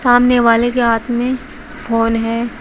सामने वाले के हाथ में फोन है।